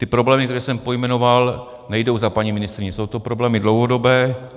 Ty problémy, které jsem pojmenoval, nejdou za paní ministryní, jsou to problémy dlouhodobé.